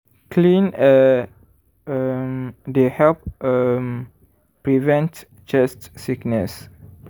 clean air um dey help um prevent chest sickness.